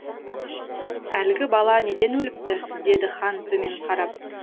әлгі бала неден өліпті деді хан төмен қарап